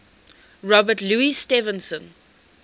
robert louis stevenson